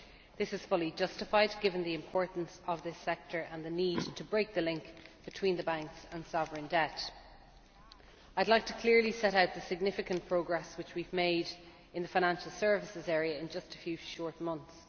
This is fully justified, given the importance of this sector and the need to break the link between the banks and sovereign debt. I would like to clearly set out the significant progress we have made in the financial services area in just a few short months.